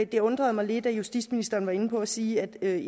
det undrede mig lidt at justitsministeren var inde på at sige at